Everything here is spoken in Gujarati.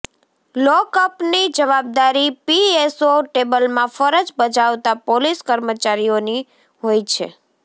લોકઅપની જવાબદારી પીએસઓ ટેબલમાં ફરજ બજાવતા પોલીસ કર્મચારીઓની હોય છે